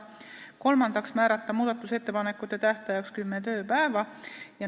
Kolmandaks, määrata muudatusettepanekute tähtajaks kümme tööpäeva.